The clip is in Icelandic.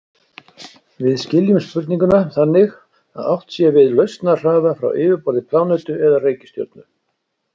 Við skiljum spurninguna þannig að átt sé við lausnarhraða frá yfirborði plánetu eða reikistjörnu.